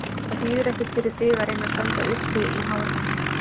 Það þýðir ekkert fyrir þig að reyna að standa uppi í hárinu á honum.